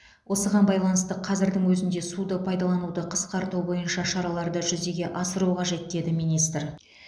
осыған байланысты қазірдің өзінде суды пайдалануды қысқарту бойынша шараларды жүзеге асыру қажет деді министр